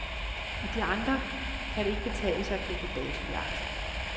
I de andre kan det ikke betale sig at gå på datojagt.